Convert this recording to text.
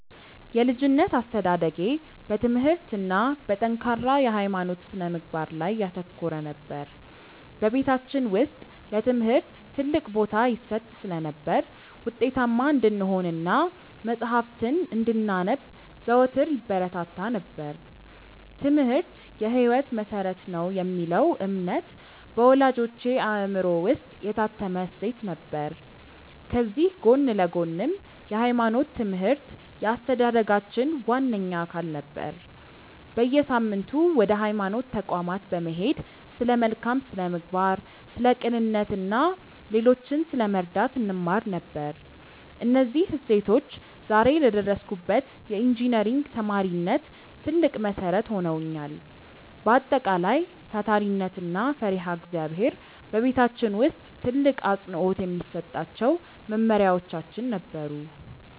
የልጅነት አስተዳደጌ በትምህርት እና በጠንካራ የሃይማኖት ስነ-ምግባር ላይ ያተኮረ ነበር። በቤታችን ውስጥ ለትምህርት ትልቅ ቦታ ይሰጥ ስለነበር፣ ውጤታማ እንድንሆን እና መጽሐፍትን እንድናነብ ዘወትር ይበረታታ ነበር፤ "ትምህርት የህይወት መሰረት ነው" የሚለው እምነት በወላጆቼ አእምሮ ውስጥ የታተመ እሴት ነበር። ከዚህ ጎን ለጎንም የሃይማኖት ትምህርት የአስተዳደጋችን ዋነኛ አካል ነበር። በየሳምንቱ ወደ ሃይማኖት ተቋማት በመሄድ ስለ መልካም ስነ-ምግባር፣ ስለ ቅንነት እና ሌሎችን ስለመርዳት እንማር ነበር። እነዚህ እሴቶች ዛሬ ለደረስኩበት የኢንጂነሪንግ ተማሪነት ትልቅ መሰረት ሆነውኛል። በአጠቃላይ፣ ታታሪነት እና ፈሪሃ እግዚአብሔር በቤታችን ውስጥ ትልቅ አፅንዖት የሚሰጣቸው መመሪያዎቻችን ነበሩ።